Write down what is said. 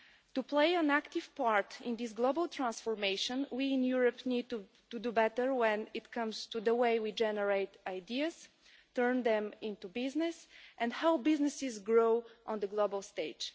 To play an active part in this global transformation, we in Europe need to do better when it comes to the way we generate ideas, turn them into business and help businesses grow on the global stage.